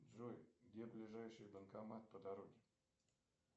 джой где ближайший банкомат по дороге